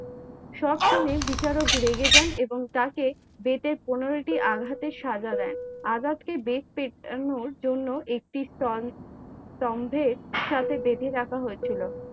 সব শুনে বিচারক রেগে জান এবং তাকে বেতের পনেরোটি আঘাত সে সাজা দেন, আজাদ কে দেখতে জন্য একটি স্তম্ভে সত্যে বেঁধে রাখা হয় ছিলো।